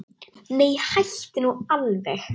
Nei, hættu nú alveg!